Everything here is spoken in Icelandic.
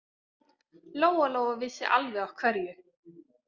Lóa-Lóa vissi alveg af hverju.